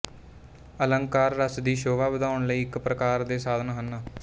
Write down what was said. ਅਲੰਕਾਰ ਰਸ ਦੀ ਸ਼ੋਭਾ ਵਧਾਉਣ ਲਈ ਇੱਕ ਪ੍ਰਕਾਰ ਦੇ ਸਾਧਨ ਹਨ